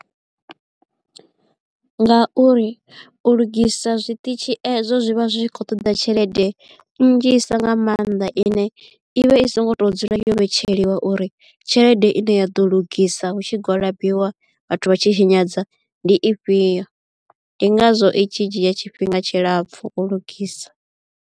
Nga uri u lugisa zwiṱitshi ezwo zwi vha zwi khou ṱoḓa tshelede nnzhisa nga mannḓa ine i vha i songo to dzula yo vhetsheliwa uri tshelede i ne ya ḓo lugisa hu tshi gwalabiwa vhathu vha tshi tshinyadza ndi ifhio ndi ngazwo i tshi dzhia tshifhinga tshilapfu u lugisa.